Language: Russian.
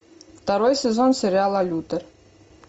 второй сезон сериала лютер